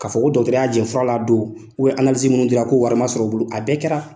Ka fɔ ko dɔkitɛriw y'a jɛ fura la a don minnu dira ko warima sɔrɔ u bolo, a bɛɛ kɛra